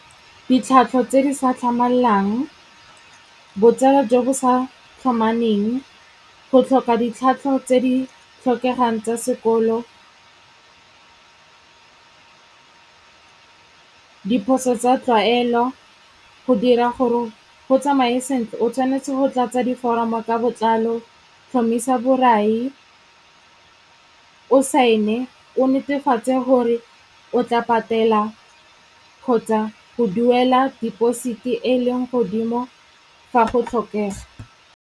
Ditlhwatlhwa tse di sa tlhamallang, botsala jo bo sa tlhomameng, go tlhoka ditlhatlho tse di tlhokegang tsa sekolo , diphoso tsa tlwaelo. Go dira gore go tsamaye sentle o tshwanetse go tlatsa diforomo ka botlalo, tlhomisa borai, o sign-e, o netefatse gore o tla patela kgotsa go duela deposit-e e leng godimo fa go tlhokega.